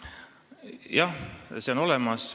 Jah, see on olemas.